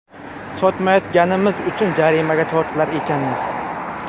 Sotmayotganimiz uchun jarimaga tortilar ekanmiz.